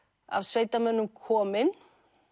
af sveitamönnum komin